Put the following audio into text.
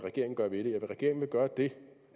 gøre ved det regeringen vil gøre det